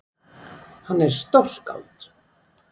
Hann er stórskáld!